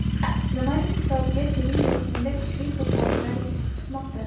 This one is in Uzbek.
Nimaning hisobiga sening yurtingda kuchli futbolchilar yetishib chiqmoqda?